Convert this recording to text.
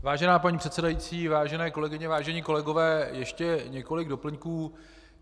Vážená paní předsedající, vážené kolegyně, vážení kolegové, ještě několik doplňků.